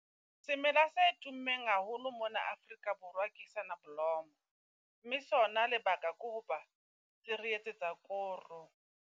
Semela se tummeng haholo mona Afrika Borwa ke sonoblomo, mme sona lebaka ko ho ba se re etsetsa koro.